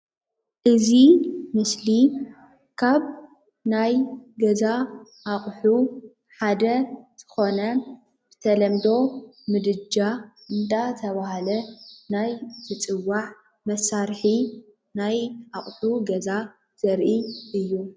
እዚ ምስሊ ካብ ናይ ገዛ አቑሑ ሓደ ዝኾነ ብተለምዶ ምድጃ እንዳተባሃለ ናይ ዝፅዋዕ መሳርሒ ናይ ኣቑሑ ገዛ ዘርኢ እዩ።